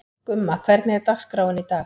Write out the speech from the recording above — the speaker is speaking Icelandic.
Gumma, hvernig er dagskráin í dag?